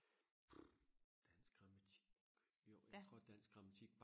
dansk grammatik jo jeg tror dansk grammatik